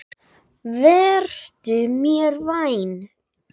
Vertu mér vænn.